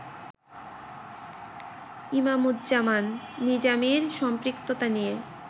ইমামুজ্জামান নিজামীর সম্পৃক্ততা নিয়ে